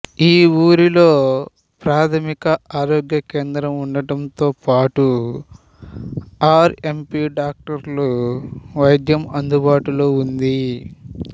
ఈ ఊరిలో ప్రాథమిక ఆరోగ్య కేంద్రం ఉండటంతో పాటు ఆర్ ఎం పి డాక్టర్ల వైద్యం అందుబాటులో ఉంది